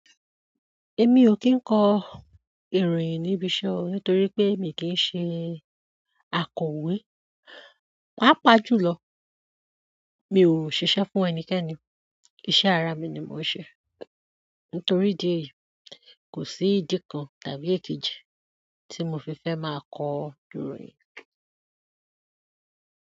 Emi o ki nko ìròyìn níbi iṣẹ́ o nítorí pé mi kì í ṣe akọ̀wé. Pápá jùlọ, mi ò ṣiṣẹ́ fún ẹnikẹ́ni, iṣẹ́ ara mi ni mò ń ṣe. Nítorí idí èyí, kò sí ìdí kan tàbí èkejì tí mo fi fẹ́ máa kọ ìròyìn.